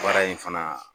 Baara in fana